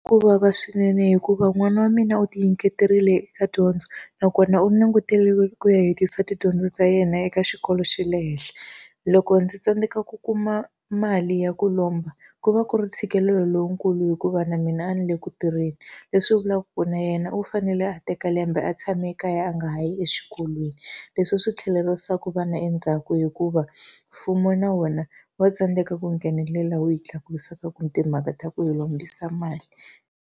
Ku vava swinene hikuva n'wana wa mina u tinyiketerile eka dyondzo, nakona u languteriwe ku ya hetisisa tidyondzo ta yena eka xikolo xa le henhla. Loko ndzi tsandzeka ku kuma mali ya ku lomba, ku va ku ri ntshikelelo lowukulu hikuva na mina a ni le ku tirheni. leswi vulaka ku na yena u fanele a teka lembe a tshame ekaya a nga ha yi exikolweni. Leswi swi tlhelerisaka vana endzhaku hikuva mfumo na wona wa tsandzeka ku nghenelela wu hi tlakusaka ka ku timhaka ta ku hi lombisa mali.